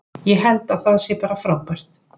Ég held að það sé bara frábært.